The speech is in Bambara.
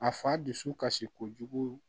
A fa dusu kasi kojugu